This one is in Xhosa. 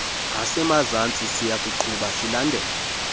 asemazantsi siyakuqhuba silandela